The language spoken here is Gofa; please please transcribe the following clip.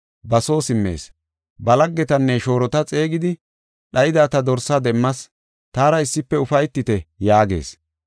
ba soo simmees. Ba laggetanne shoorota xeegidi, ‘Dhayida ta dorsa demmas, taara issife ufaytite’ yaagees.